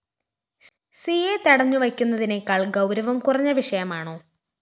സിയെ തടഞ്ഞു വെയ്ക്കുന്നതിനേക്കാള്‍ ഗൗരവം കുറഞ്ഞ വിഷയമാണോ?